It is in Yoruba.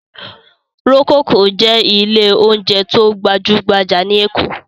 Rococo jẹ́ ilé-oúnjẹ tó gbajú-gbajà ní Èkó.